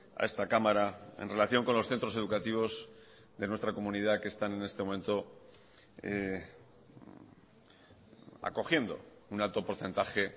a esta cámara en relación con los centros educativos de nuestra comunidad que están en este momento acogiendo un alto porcentaje